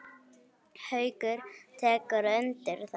Haukur: Tekurðu undir það?